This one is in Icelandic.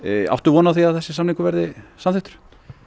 áttu von á því að þessi samningur verði samþykktur